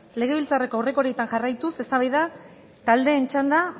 legebiltzarreko aurrekariei jarraituz eztabaida taldeen txanda